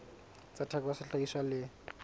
tsa theko ya sehlahiswa le